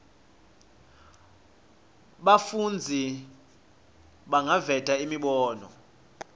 bafundzi bangaveta imibono